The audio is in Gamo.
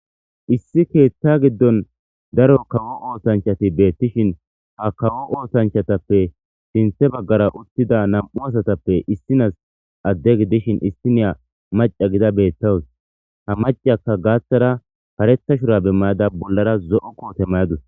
issi keethta giddon daro kawo ootanchati beettishin ha kawo ootanchatappe sinthe baggara uttida nam7u asatappe issinas adde gidishin issineya maca gida beettawus ha macakka gaaththara paretha shura bemmayada bollara zo7o koote mayadus